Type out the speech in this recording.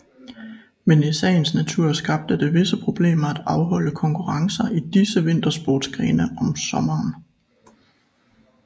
Men i sagens natur skabte det visse problemer at afholde konkurrencer i disse vintersportsgrene om sommeren